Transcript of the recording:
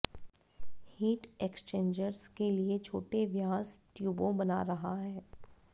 heat exchangers के लिए छोटे व्यास ट्यूबों बना रहा है